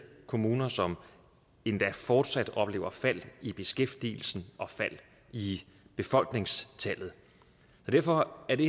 kommuner som endda fortsat oplever fald i beskæftigelsen og fald i befolkningstallet derfor er det